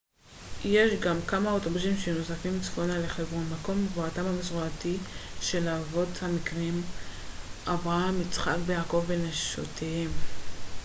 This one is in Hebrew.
יש גם כמה אוטובוסים שנוסעים צפונה לחברון מקום קבורתם המסורתי של האבות המקראיים אברהם יצחק ויעקב ושל נשותיהם